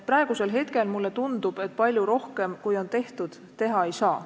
Praegusel hetkel mulle tundub, et palju rohkem, kui on tehtud, teha ei saa.